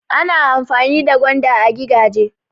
Ana amfani da gwanda a gigaje.